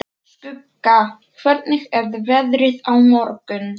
Skugga, hvernig er veðrið á morgun?